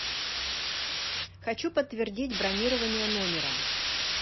хочу подтвердить бронирование номера